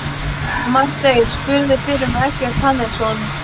Marteinn spurðist fyrir um Eggert Hannesson.